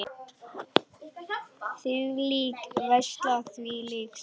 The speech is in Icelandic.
Þvílík veisla, þvílíkt stuð.